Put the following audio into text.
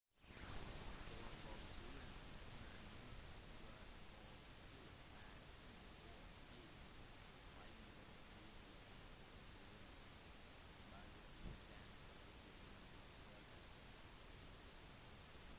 hovedbokstavene man må være obs på er c og g siden deres uttale er forskjellig basert på den følgende vokalen